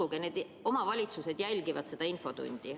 Uskuge, need omavalitsused jälgivad seda infotundi.